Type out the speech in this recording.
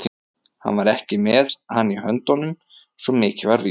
Hann var ekki með hann í höndunum, svo mikið var víst.